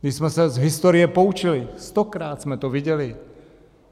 My jsme se z historie poučili, stokrát jsme to viděli.